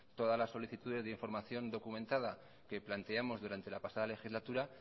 todas las solicitudes de información documentada que planteamos durante la pasada legislatura